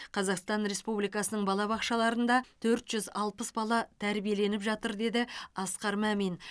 қазақстан республикасының балабақшаларында төрт жүз алпыс бала тәрбиеленіп жатыр деді асқар мамин